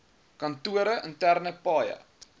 kantore interne paaie